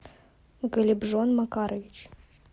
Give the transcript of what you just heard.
голибжон макарович